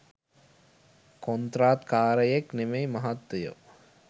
කොන්ත්‍රාත්කාරයෙක් නෙමෙයි මහත්තයෝ.